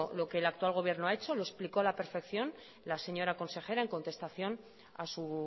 lo que el actual gobierno ha hecho lo explicó a la perfección la señora consejera en contestación a su